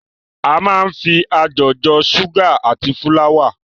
A máa ń fi ajọ̀ jọ ṣúgà àti fúláwà.